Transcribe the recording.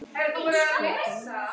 spurði María.